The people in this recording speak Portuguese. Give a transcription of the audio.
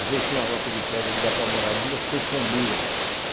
Às vezes tem uma loca de pedra e dá para morar duas, três famílias.